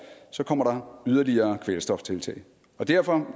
kommer der yderligere kvælstoftiltag derfor